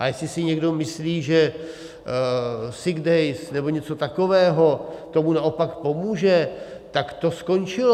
A jestli si někdo myslí, že sick days nebo něco takového tomu naopak pomůže, tak to skončilo.